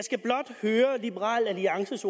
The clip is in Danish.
er i liberal alliances